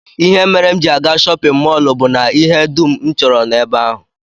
Ihe mere m ji aga shọpịn mọl bụ na ihe dum m chọrọ nọ ebe ahụ